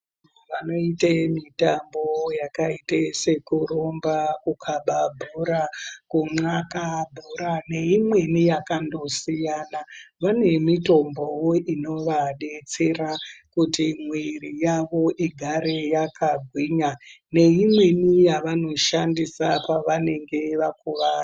Vanoita mitambo yakaita sekurumba kukaba bhora kunxaka bhora neimweni yakandosiyana vane mitombowo Inova detsera kuti mwiri yawo igare yakagwinya neimweni yavanoshandisa pavanonga vakuwara.